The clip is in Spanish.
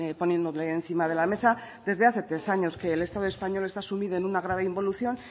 poniéndole encima de la mesa desde hace tres años que el estado español está sumido en una grave involución